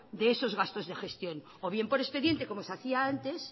de esos gastos de gestión o bien por expediente como se hacía antes